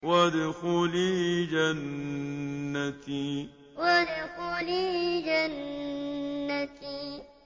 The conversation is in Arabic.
وَادْخُلِي جَنَّتِي وَادْخُلِي جَنَّتِي